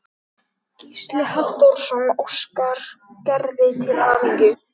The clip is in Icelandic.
Gísli Halldórsson óskar Gerði til hamingju.